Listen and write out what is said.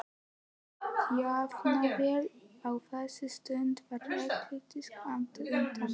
Jafnvel á þessari stundu var Ragnhildur skammt undan.